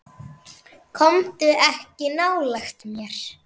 Komdu ekki nálægt mér.